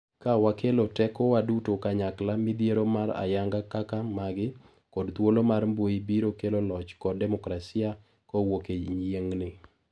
Ka wakelo teko wa duto kanyakla midhiero ma ayanga kaka magi ,kod thuolo mar mbui biro kelo loch kod demokrasia ka owuok e yieng'ni.